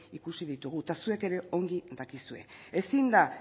ikusi ditugu eta zuek ere ongi dakizue ezin da